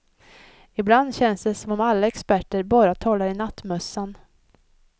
Ibland känns det som om alla experter bara talar i nattmössan.